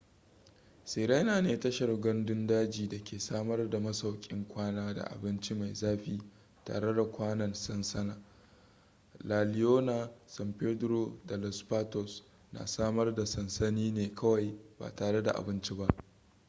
sirena ne tashar gandun daji da ke samar da masaukin kwana da abinci mai zafi tare da kwanan sansani la leona san pedrillo da los patos na samar da sansani ne kawai ba tare da abinci ba